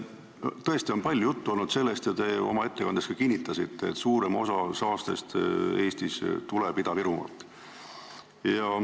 Tõesti on palju juttu olnud sellest ja te oma ettekandes ka kinnitasite, et suurem osa saastest tuleb Eestis Ida-Virumaalt.